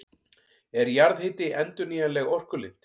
Er jarðhiti endurnýjanleg orkulind?